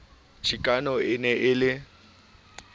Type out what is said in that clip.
chikano e ne e le